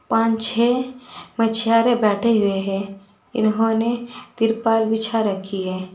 पांच छह मछुआरे बैठे हुए हैं इन्होंने तिरपाल बिछा रखी है।